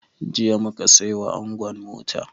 Jiya mu ka sai wa angon mota.